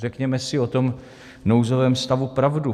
Řekněme si o tom nouzovém stavu pravdu.